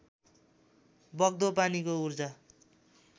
बग्दो पानीको ऊर्जा